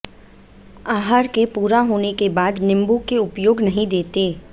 आहार के पूरा होने के बाद नींबू के उपयोग नहीं देते